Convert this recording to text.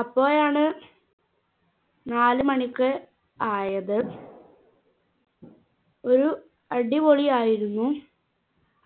അപ്പോഴാണ് നാലു മണിക്ക് ആയത് ഒരു അടിപൊളിയായിരുന്നു